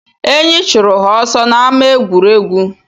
Eyi chụrụ ha ọsọ n'ámá egwuregwu